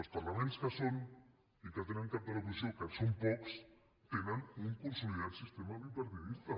els parlaments que tenen cap de l’oposició que són pocs tenen un consolidat sistema bipartidista